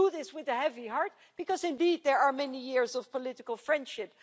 We do this with a heavy heart because, indeed, there are many years of political friendship.